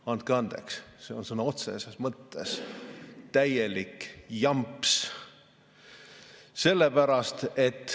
Andke andeks, see on sõna otseses mõttes täielik jamps.